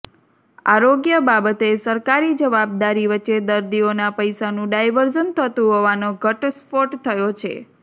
આરોગ્ય બાબતે સરકારી જવાબદારી વચ્ચે દર્દીઓના પૈસાનું ડાયવર્ઝન થતુ હોવાનો ઘટસ્ફોટ થયો છે